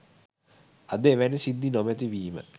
අද එවැනි සිද්ධි නොමැති වීම